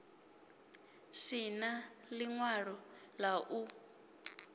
si na ḽiṅwalo ḽa u